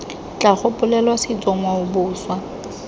tla gopolelwa setso ngwao boswa